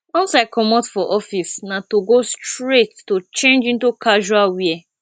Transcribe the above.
once i comot for office na togo straight to change into casual wear